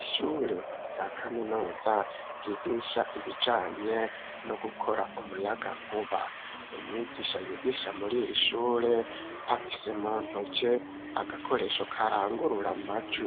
Ishure rya kaminuza ryigisha ibijanye no gukora umuyagankuba, umwigisha yigisha muri ir'ishure afise mu ntoke agakoresho karangururamajwi,